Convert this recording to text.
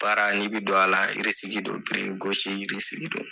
Baara n'i bi don a la don don.